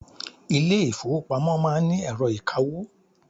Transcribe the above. Ilé ìfọwọ́pamo má ń ni ẹ̀rọ ìkawó.